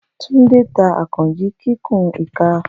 Tunde ta Akanji kikun ika.